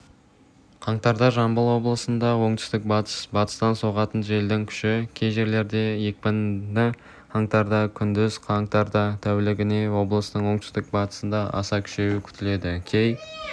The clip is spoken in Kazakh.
қаңтарда жамбыл облысында оңтүстік-батыс батыстан соғатын желдің күші кей жерлерде екпіні қаңтарда күндіз қаңтарда тәулігіне облыстың оңтүстік-батысында аса күшеюі күтіледі кей